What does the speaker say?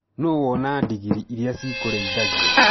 Nũ wona ndigiri irĩa ci kũrĩithagia.